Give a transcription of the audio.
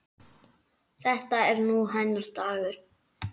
Þetta er nú hennar dagur.